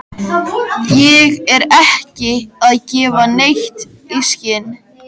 Ég er ekki að gefa neitt í skyn.